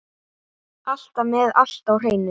Alltaf með allt á hreinu.